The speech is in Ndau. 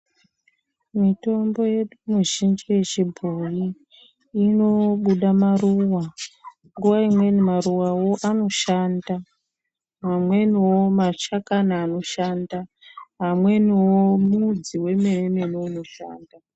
Mitombo yedu mizhinji yechibhoyi inobuda maruwa. Nguva imweni maruwa wo anoshanda. Amweni wo mashakama anoshanda. Amweni wo, mudzi wemeni unoshanda.